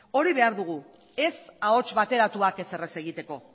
hori behar dugu ez ahots bateratuak ezer ez egiteko